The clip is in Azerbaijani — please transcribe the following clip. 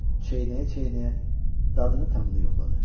Çeynəyə-çeynəyə dadını-tamını yoxladı.